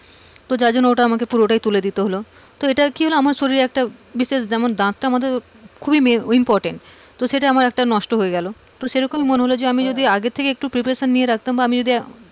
যার জন্য আমাকে পুরোটাই তুলে দিতে হলো তো এটা কি হলো আমার শরীরে একটা বিশেষ যেমন আমার দাঁতটা তো খুবই important সেটা আমার একটা নষ্ট হয়ে গেল তো সেরকমই মনে হলো যে আমি আগে থেকে একটু preparation নিয়ে রাখতাম, বা আমি যদি,